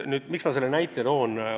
Miks ma selle näite tõin?